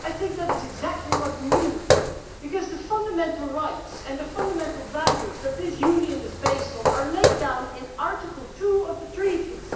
I think that is exactly what we need because the fundamental rights and the fundamental values that this Union is based on are laid down in Article 2 of the Treaties.